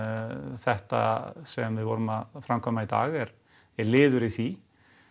þetta sem við vorum að framkvæma í dag er liður í því